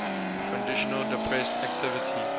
conditions depressed activity